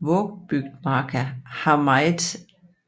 Vågsbygdmarka har meget